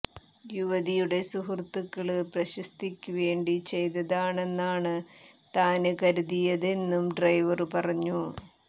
യുവതിയുടെ സുഹൃത്തുക്കള് പ്രശസ്തിക്ക് വേണ്ടി ചെയ്തതാണെന്നാണ് താന് കരുതിയതെന്നും ഡ്രൈവര് പറഞ്ഞു